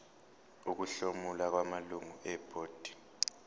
ukuhlomula kwamalungu ebhodi